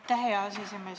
Aitäh, hea aseesimees!